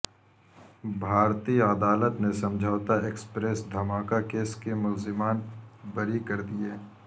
بھارتی عدالت نے سمجھوتا ایکسپریس دھماکا کیس کے ملزمان بری کردیئے